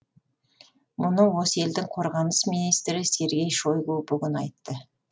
мұны осы елдің қорғаныс министрі сергей шойгу бүгін айтты